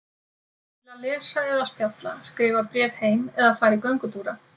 Til að lesa eða spjalla, skrifa bréf heim eða fara í göngutúra.